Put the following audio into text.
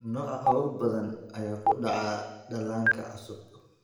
Nooca ugu badan ayaa ku dhaca dhallaanka cusub.